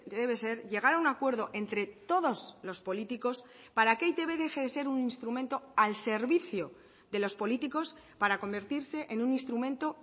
debe ser llegar a un acuerdo entre todos los políticos para que e i te be deje de ser un instrumento al servicio de los políticos para convertirse en un instrumento